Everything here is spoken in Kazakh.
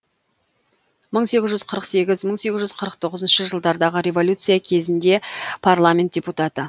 мың сегіз жүз қырық сегіз мың сегіз жүз қырық тоғызыншы жылдардағы революция кезінде парламент депутаты